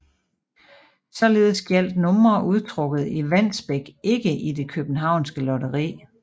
Således gjaldt numre udtrukket i Wandsbek ikke i det københavnske lotteri